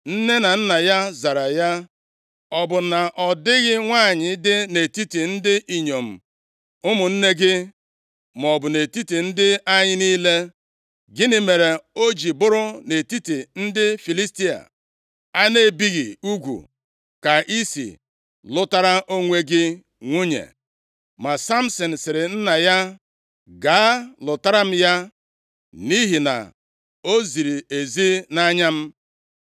Nne na nna ya zara ya, “Ọ bụ na ọ dịghị nwanyị dị nʼetiti ndị inyom ụmụnne gị, maọbụ nʼetiti ndị anyị niile? Gịnị mere o ji bụrụ nʼetiti ndị Filistia a na-ebighị ugwu ka i si lụtara onwe gị nwunye?” Ma Samsin sịrị nna ya, “Gaa lụtara m ya. Nʼihi na o ziri ezi nʼanya m.”